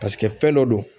Paseke fɛn dɔ don